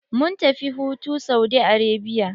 Mun tafi hutu Saudi Arabia.